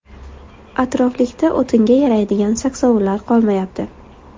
atroflikda o‘tinga yaraydigan saksovullar qolmayapti.